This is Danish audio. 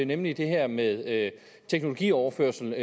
nemlig det her med teknologioverførsel